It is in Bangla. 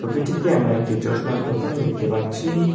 ছবিটিতে আমরা একটি চশমার দোকান দেখতে পাচ্ছি।